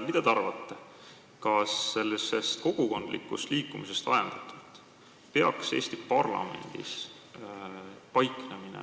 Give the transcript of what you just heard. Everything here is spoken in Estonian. Mida te arvate, kas kogukondlikust liikumisest ajendatult peaks Eesti parlamendis paiknemine